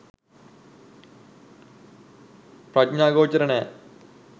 ප්‍රඥාගෝචර නැ.